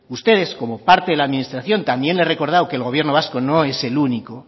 ustedes como parte de la administración también le he recordado que el gobierno vasco no es el único